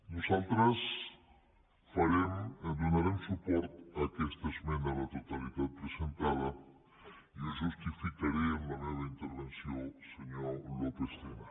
nosaltres donarem suport a aquesta esmena a la totalitat presentada i ho justificaré en la meva intervenció senyor lópez tena